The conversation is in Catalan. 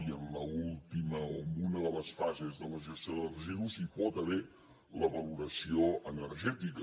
i en l’última o en una de les fases de la gestió de residus hi pot haver la valoració energètica